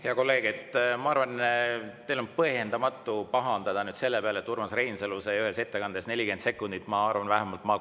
Hea kolleeg, ma arvan, et teil on põhjendamatu pahandada selle peale, et Urmas Reinsalu sai ühe ettekande jaoks 40 sekundit.